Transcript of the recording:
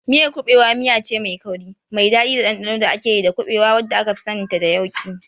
Miyar kuɓewa miyace mai kauri, mai daɗi da ɗanɗano da ake yi da kuɓewa, wadda akafi saninta da yauƙi.